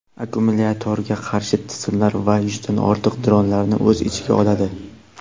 akkumulyatorga qarshi tizimlar va yuzdan ortiq dronlarni o‘z ichiga oladi.